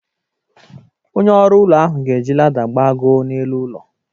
Onye ọrụụlọ ahụ ga-eji lada gbagoo n'elu ụlọ